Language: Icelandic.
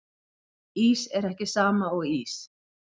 Ís er ekki sama og ís